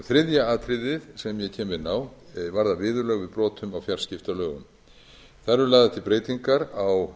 þriðja atriðið sem ég kem inn á varðar viðurlög við brotum á fjarskiptalögunum þar eru lagðar til breytingar á